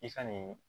I ka nin